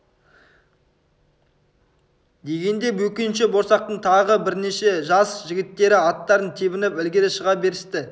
дегенде бөкенші борсақтың тағы бірнеше жас жігіттері аттарын тебініп ілгері шыға берісті